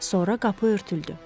Sonra qapı örtüldü.